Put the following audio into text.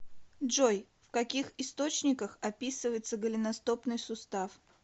джой в каких источниках описывается голеностопный сустав